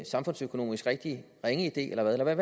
samfundsøkonomisk rigtig ringe idé eller hvad